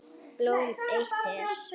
Blóm eitt er.